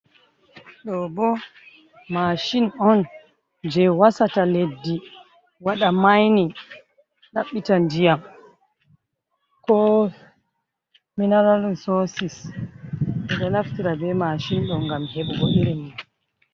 Ɗobo masin on, je wasata leddi wada maini, daɓɓita ndiyam ko mineral risosi, ɓeɗo naftirta be masin ɗo ngam heɓugo ilimi.